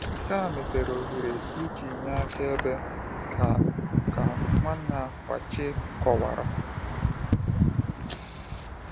Nke a mepere ohere iji nye akaebe, ka ka Nwanna Kwakye kọwara.